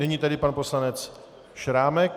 Nyní tedy pan poslanec Šrámek.